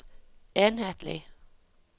enhetlig